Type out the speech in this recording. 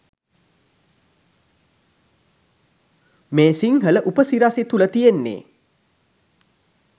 මේ සිංහල උපසිරසි තුල තියෙන්නෙ